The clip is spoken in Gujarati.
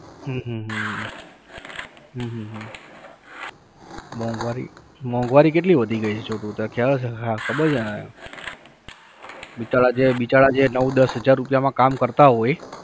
હમ હમ હમ હમ હમ હમ મોંઘવારીએ, મોંઘવારી કેટલી વધી ગય છે છોટું તને ખયાલ છે હા ખબર છે ને બિચારા જે બિચારા જે નવ દસ હજાર રૂપિયામાં કામ કરતા હોય